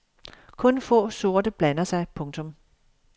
Kun få sorte blander sig. punktum